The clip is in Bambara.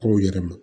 K'o yɛlɛma